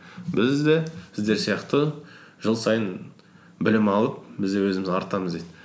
біз де сіздер сияқты жыл сайын білім алып біз де өзіміз артамыз дейді